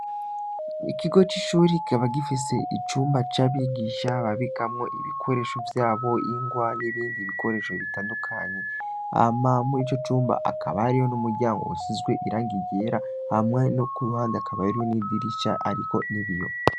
Ikigo c'ishuri kikaba gifise icumba c'abigisha babigamwo ibikoresho vyabo ingwa n'ibindi bikoresho bitandukanyi amamure ico cumba akabariyo n'umuryango wushizwe irang iyera hamwa no ku ruhande akabayero n'idirisha, ariko ni biyo.